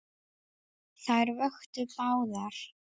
Þær vöktu báðar.